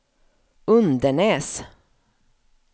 Undenäs